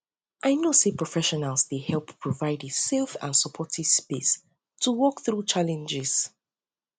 i know say professionals dey help provide a safe and supportive space to work through um challenges